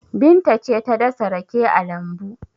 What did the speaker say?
Binta ce ta dasa rake a lambu.